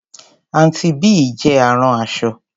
Aunty Bee jẹ́ arán aṣọ.